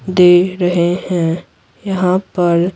दे रहे हैं यहां पर --